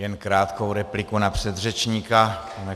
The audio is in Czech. Jen krátkou repliku na předřečníka.